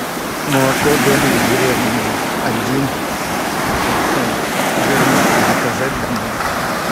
молоко домик в деревне один процент жирности заказать домой